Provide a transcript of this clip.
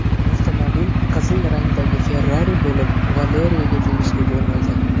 Avtomobil qizil rangdagi Ferrari bo‘lib, Valeriyaga tegishli bo‘lmagan.